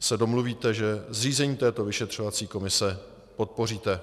se domluvíte, že zřízení této vyšetřovací komise podpoříte.